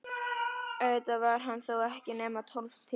Auðvitað var hann þó ekki nema tólf tímar.